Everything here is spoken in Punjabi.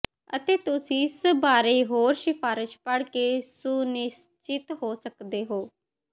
ਅਤੇ ਤੁਸੀਂ ਇਸ ਬਾਰੇ ਹੋਰ ਸਿਫ਼ਾਰਸ਼ਾਂ ਪੜ੍ਹ ਕੇ ਸੁਨਿਸ਼ਚਿਤ ਹੋ ਸਕਦੇ ਹੋ